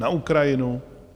Na Ukrajinu?